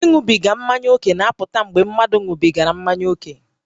Ịṅụbiga mmanya ókè na-apụta mgbe mmadụ ṅụbigara mmanya ókè